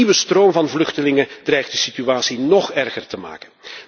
En een nieuwe stroom van vluchtelingen dreigt de situatie nóg erger te maken.